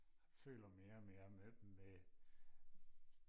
føler mere og mere med dem med